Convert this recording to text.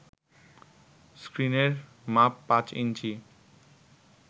স্ক্রিনের মাপ পাঁচ ইঞ্চি